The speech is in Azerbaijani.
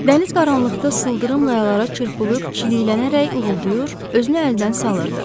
Dəniz qaranlıqda sıldırım qayalara çırpılıb, çiliklənərək uğuldayır, özünü əldən salırdı.